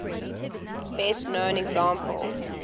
best known example